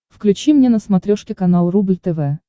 включи мне на смотрешке канал рубль тв